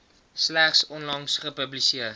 slegs onlangs gepubliseer